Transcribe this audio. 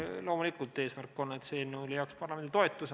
Loomulikult, eesmärk on, et see eelnõu leiaks parlamendi toetuse.